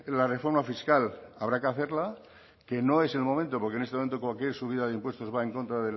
la reforma fiscal habrá que hacerla que no es el momento porque en este momento cualquier subida de impuestos va en contra